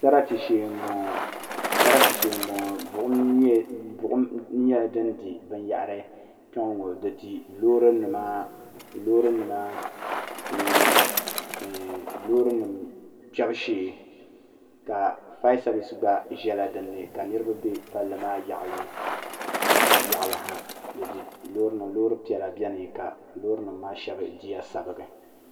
Sarati shee m boŋɔ buɣum nyɛla fin di binyahiri kpeŋɔ ŋɔ di di loori nima ni loori nima kpebu shee ka fayasevis gba ʒɛla dinni niriba be palli maa zuɣu yaɣali ha loori piɛla biɛni loori nima maa sheŋa diya sabigi.